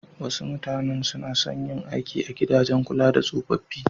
Wasu mutanen su na son yin aiki a gidajen kula da tsofaffi.